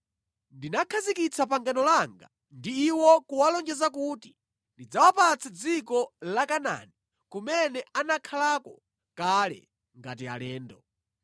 Ndinakhazikitsa pangano langa ndi iwo kuwalonjeza kuti ndidzawapatsa dziko la Kanaani kumene anakhalako kale ngati alendo.